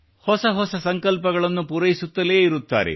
ಹೊಸ ಹೊಸ ಸಂಕಲ್ಪಗಳನ್ನು ಪೂರೈಸುತ್ತಲೇ ಇರುತ್ತಾರೆ